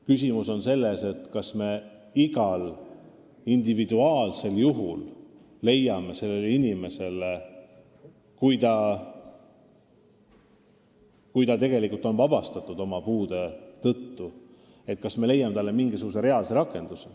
Küsimus on selles, kas me igal individuaalsel juhul leiame inimesele, kes on tegelikult ajateenistusest vabastatud oma puude tõttu, mingisuguse reaalse rakenduse.